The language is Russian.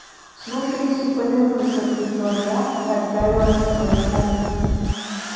слушаюсь и повинуюсь ответила я и отправилась в свою комнату